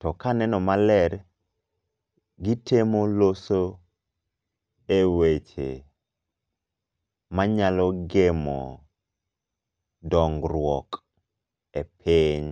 to ka aneno maler gitemo loso eweche manyalo gemo dongruok epiny.